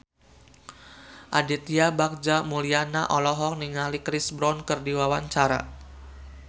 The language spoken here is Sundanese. Aditya Bagja Mulyana olohok ningali Chris Brown keur diwawancara